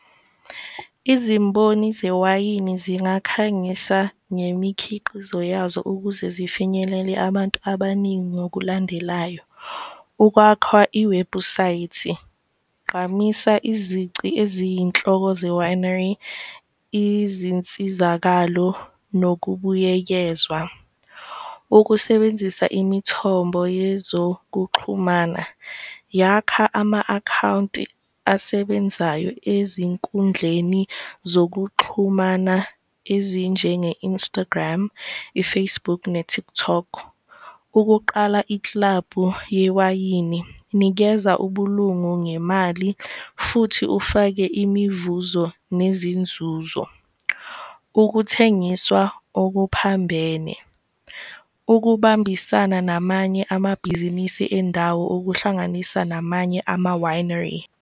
Izimboni zewayini zingakhangisa ngemikhiqizo yazo ukuze zifinyelele abantu abaningi ngokulandelayo, ukwakha iwebhusayithi, gqamisa izici eziyinhloko ze-winery, izinsizakalo nokubuyekezwa. Ukusebenzisa imithombo yezokuxhumana, yakha ama-akhawunti asebenzayo ezinkundleni zokuxhumana ezinjenge-Instagram, i-Facebook ne-TikTok ukuqala iklabhu yewayini, nikeza ubulungu ngemali futhi ufake imivuzo nezinzuzo. Ukuthengiswa okuphambene, ukubambisana namanye amabhizinisi endawo okuhlanganisa namanye ama-winery.